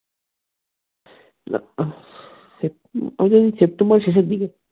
ওই যে september শেষের দিকে